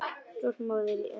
Stolt móðir í annað sinn.